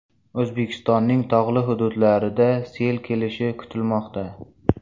O‘zbekistonning tog‘li hududlarida sel kelishi kutilmoqda.